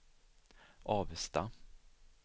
Avesta